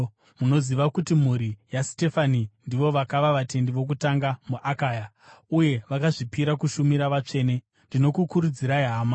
Munoziva kuti mhuri yaStefanasi ndivo vakava vatendi vokutanga muAkaya, uye vakazvipira kushumira vatsvene. Ndinokukurudzirai hama,